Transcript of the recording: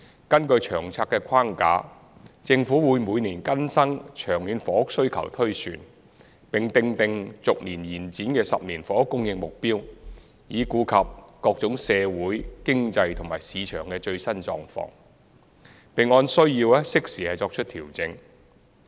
根據《長策》的框架，政府會每年更新長遠房屋需求推算，並訂定逐年延展的10年房屋供應目標，以顧及各種社會、經濟和市場的最新狀況，並按需要適時作出調整。